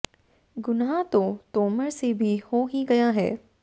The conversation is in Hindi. गुनाह तो तोमर से भी हो ही गया है